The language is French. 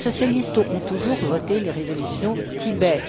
Les socialistes ont toujours voté les résolutions Tibet.